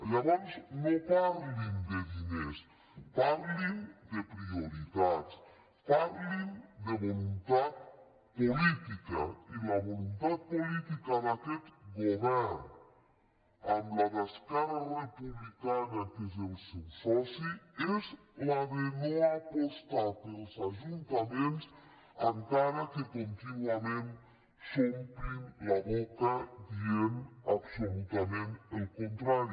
llavors no parlin de diners parlin de prioritats parlin de voluntat política i la voluntat política d’aquest govern amb la d’esquerra republicana que és el seu soci és la de no apostar pels ajuntaments encara que contínuament s’omplin la boca dient absolutament el contrari